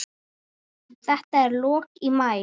Þetta er í lok maí.